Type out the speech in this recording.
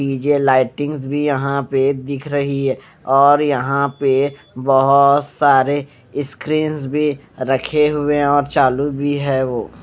नीचे लाइटिंगस भी यहाँं पे दिख रही है और यहाँं पे बहुत सारे स्क्रीन्स भी रखे हुए और चालू भी है वो --